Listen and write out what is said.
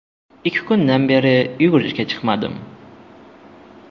Ikki kundan beri yugurishga chiqmadim.